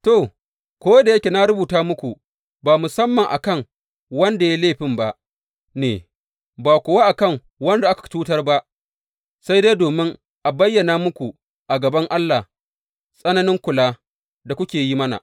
To, ko da yake na rubuta muku, ba musamman a kan wanda ya yi laifin ba ne, ba kuwa a kan wanda aka cutar ba, sai dai domin a bayyana muku a gaban Allah tsananin kula da kuke yi mana.